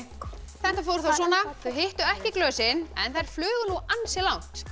þetta fór þá svona þau hittu ekki glösin en þær flugu nú ansi langt